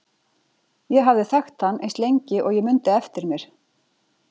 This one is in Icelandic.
Ég hafði þekkt hann eins lengi og ég mundi eftir mér.